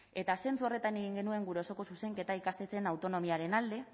eta zentzu horretan egin genuen gure osoko zuzenketa ikastetxeen autonomiaren alde